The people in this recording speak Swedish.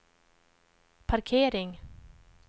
parkering